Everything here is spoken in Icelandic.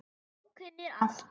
Þú kunnir allt.